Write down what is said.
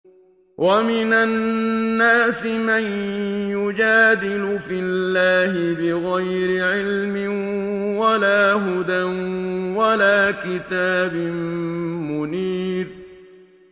وَمِنَ النَّاسِ مَن يُجَادِلُ فِي اللَّهِ بِغَيْرِ عِلْمٍ وَلَا هُدًى وَلَا كِتَابٍ مُّنِيرٍ